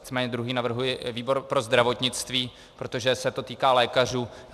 Nicméně druhý navrhuji výbor pro zdravotnictví, protože se to týká lékařů.